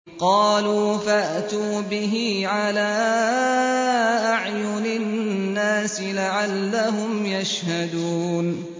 قَالُوا فَأْتُوا بِهِ عَلَىٰ أَعْيُنِ النَّاسِ لَعَلَّهُمْ يَشْهَدُونَ